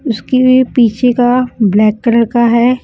उसके पीछे का ब्लैक कलर का है।